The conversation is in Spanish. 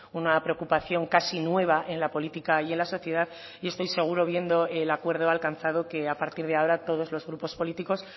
una preocupación casi nueva en la política y en la sociedad y estoy seguro viendo el acuerdo alcanzado que a partir de ahora todos los grupos políticos